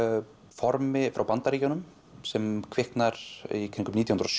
formi frá Bandaríkjunum sem kviknar í kringum nítján hundruð